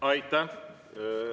Aitäh!